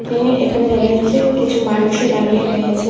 এ এখানে দেখা যাচ্ছে কিছু মানুষও দাঁড়িয়ে রয়েছে।